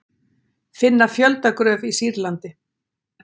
Finna fjöldagröf í Sýrlandi